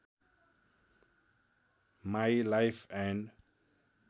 my life and